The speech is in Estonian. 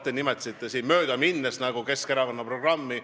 Te nimetasite siin möödaminnes Keskerakonna programmi.